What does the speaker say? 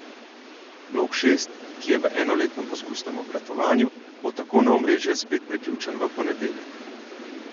Blok šest, ki je v enoletnem poskusnem obratovanju, bo tako na omrežje spet priključen v ponedeljek.